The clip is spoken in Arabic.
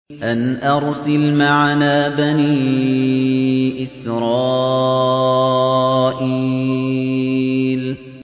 أَنْ أَرْسِلْ مَعَنَا بَنِي إِسْرَائِيلَ